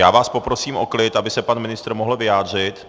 Já vás poprosím o klid, aby se pan ministr mohl vyjádřit.